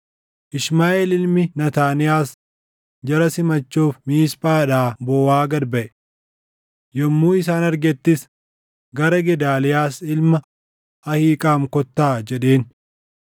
Ishmaaʼeel ilmi Naataaniyaas jara simachuuf Miisphaadhaa booʼaa gad baʼe. Yommuu isaan argettis “Gara Gedaaliyaas ilma Ahiiqaam kottaa” jedheen.